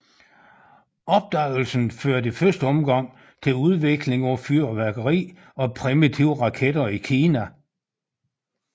Opdagelsen førte i første omgang til udvikling af fyrværkeri og primitive raketter i Kina